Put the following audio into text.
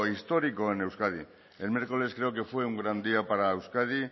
histórico en euskadi el miércoles creo que fue un gran día para euskadi